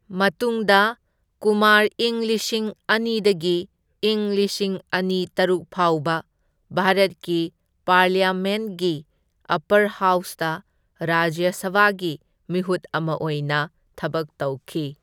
ꯃꯇꯨꯡꯗ ꯀꯨꯃꯥꯔ ꯏꯪ ꯂꯤꯁꯤꯡ ꯑꯅꯤꯗꯒꯤ ꯢꯪ ꯂꯤꯁꯤꯡ ꯑꯅꯤ ꯇꯔꯨꯛ ꯐꯥꯎꯕ ꯚꯥꯔꯠꯀꯤ ꯄꯥꯔꯂꯤꯌꯥꯃꯦꯟꯠꯒꯤ ꯑꯞꯄꯔ ꯍꯥꯎꯁꯇ ꯔꯥꯖ꯭ꯌ ꯁꯚꯥꯒꯤ ꯃꯤꯍꯨꯠ ꯑꯃ ꯑꯣꯏꯅ ꯊꯕꯛ ꯇꯧꯈꯤ꯫